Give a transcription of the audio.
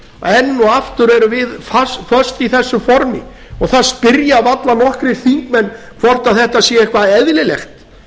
enn og aftur erum við föst í þessu formi og það spyrja varla nokkrir þingmenn hvort þetta sé eitthvað eðlilegt